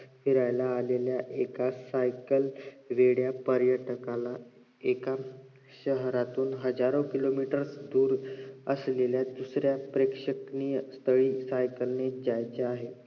फिरायला आलेल्या एका सायकल वेड्या पर्यटकाला एका शहरातून हाजारो किलोमीटर दुर असलेल्या दुसऱ्या प्रेक्षणिक स्थळी सायकलनेच जायचे असेल